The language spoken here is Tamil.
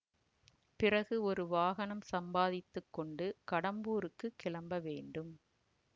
பிறகு ஒரு வாகனம் சம்பாதித்து கொண்டு கடம்பூருக்குக் கிளம்ப வேண்டும்